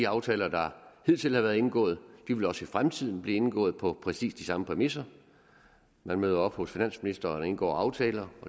aftaler der hidtil har været indgået vil også i fremtiden blive indgået på præcis de samme præmisser man møder op hos finansministeren og indgår aftaler